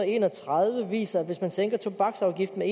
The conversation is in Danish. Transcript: og en og tredive viser at hvis man sænker tobaksafgiften